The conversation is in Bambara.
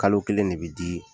Kalo kelen de bɛ di